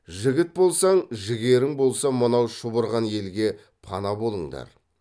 жігіт болсаң жігерің болса мынау шұбырған елге пана болыңдар